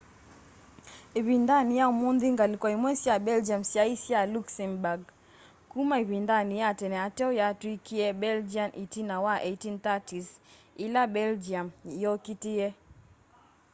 ivindani ya umunthi ngaliko imwe sya belgium syai sya luxembourg kuma ivindani ya tene ateo yatwikie belgian itina wa 1830s ila belgium yokitie